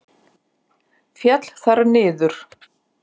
Féll þar niður.